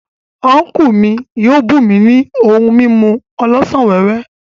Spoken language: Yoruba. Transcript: Unku mi yio bum mi ni ohun mimu olosan wewe.